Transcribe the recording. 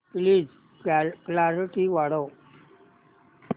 please clarity वाढव